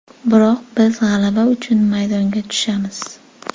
Biroq biz g‘alaba uchun maydonga tushamiz.